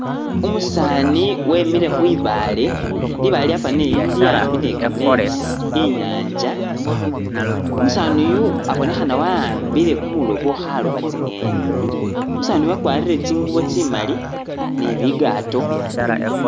Umusaani wemile khwibaale libaale lyafanile lili a'mbi ni kametsi i'nyanza, umusaani yu abonekhana wa a'ambile kumoloobo khalooba tsi'ngeni umusaani yu wakwarire tsingubo tsimali ni bigato